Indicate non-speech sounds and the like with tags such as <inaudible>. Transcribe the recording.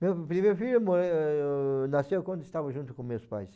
Meu primeiro filho <unintelligible> nasceu quando estava junto com meus pais.